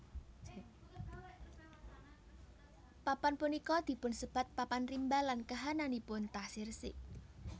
Papan punika dipun sebat papan rimba lan kahananipun taksih resik